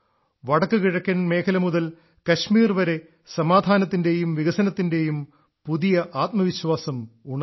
വടക്കു കിഴക്കൻ മേഖല മുതൽ കശ്മീർ വരെ സമാധാനത്തിന്റെയും വികസനത്തിന്റെയും പുതിയ ആത്മവിശ്വാസം ഉണർന്നു